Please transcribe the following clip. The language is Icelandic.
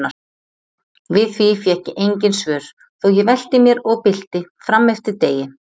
Við því fékk ég engin svör þó ég velti mér og bylti frameftir degi.